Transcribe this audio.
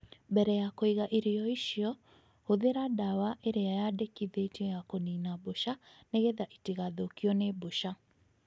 Mbere ya kũiga irio icio, hũthĩra ndawa ĩrĩa yandĩkithĩtio ya kũnina mbũca nĩgetha itigathũkio nĩ mbũca